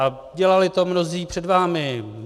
a dělali to mnozí před vámi.